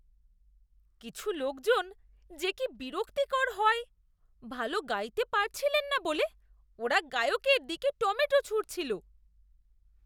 কিছু লোকজন যে কি বিরক্তিকর হয়! ভালো গাইতে পারছিলেন না বলে ওরা গায়কের দিকে টমেটো ছুঁড়ছিল।